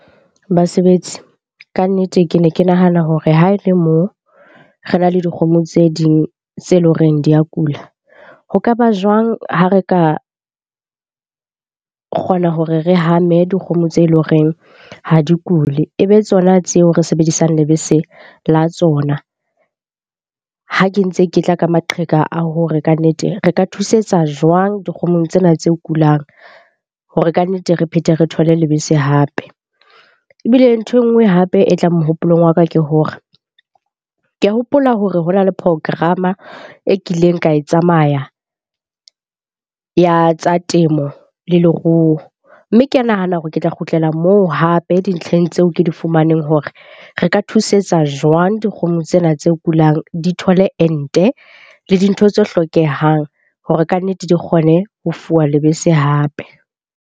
Basebetsi, kannete ke ne ke nahana hore ha e le mo re na le dikgomo tse ding tse leng horeng di ya kula, ho kaba jwang ha re ka kgona hore re hame dikgomo tse leng horeng ha di kule, e be tsona tseo re sebedisang lebese la tsona? Ha ke ntse ke tla ka maqheka a hore kannete re ka thusetsa jwang dikgomong tsena tse kulang. Hore kannete re phethe, re thole lebese hape. Ebile nthwe nngwe hape e tlang mohopolong wa ka ke hore, ke a hopola hore ho na le program-a e kileng ka e tsamaya ya tsa temo le leruo. Mme ke a nahana hore ke tla kgutlela moo hape dintlheng tseo ke di fumaneng hore re ka thusetsa jwang dikgomo tsena tse kulang, di thole ente le dintho tse hlokehang hore kannete di kgone ho fuwa lebese hape.